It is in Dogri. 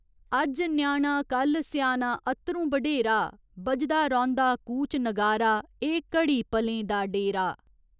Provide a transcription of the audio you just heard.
अज्ज ञ्याणा, कल्ल स्याना अत्तरूं बढेरा, बजदा रौंह्दा कूच नगारा, एह् घड़ी पलें दा डेरा।